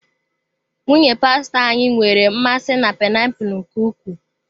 Nwunye pastọ anyị nwere mmasị na painiapulu nke ukwuu.